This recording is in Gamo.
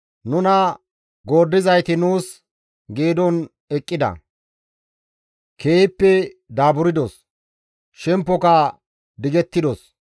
Nuna gooddizayti nuus geedon eqqida; keehippe daaburdos; shempoka digettidos.